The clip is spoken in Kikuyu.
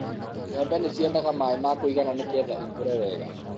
mbembe ni ciendaga maaĩ ma kũigana nigetha cikũre wega